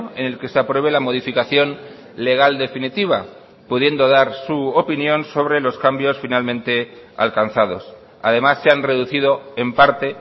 en el que se apruebe la modificación legal definitiva pudiendo dar su opinión sobre los cambios finalmente alcanzados además se han reducido en parte